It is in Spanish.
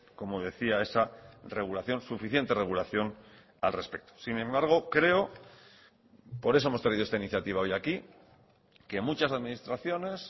como decía esa regulación suficiente regulación al respecto sin embargo creo por eso hemos traído esta iniciativa hoy aquí que muchas administraciones